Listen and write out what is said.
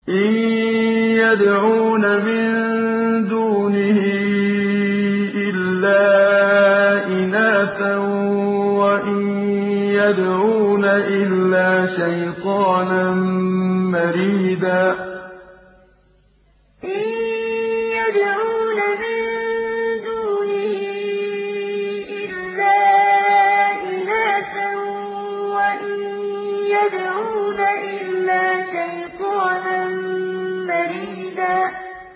إِن يَدْعُونَ مِن دُونِهِ إِلَّا إِنَاثًا وَإِن يَدْعُونَ إِلَّا شَيْطَانًا مَّرِيدًا إِن يَدْعُونَ مِن دُونِهِ إِلَّا إِنَاثًا وَإِن يَدْعُونَ إِلَّا شَيْطَانًا مَّرِيدًا